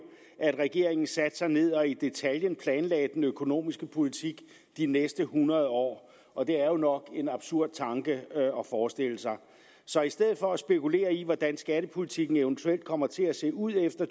at regeringen satte sig ned og i detaljen planlagde den økonomiske politik de næste hundrede år og det er nok en absurd tanke at forestille sig så i stedet for at spekulere i hvordan skattepolitikken eventuelt kommer til at se ud efter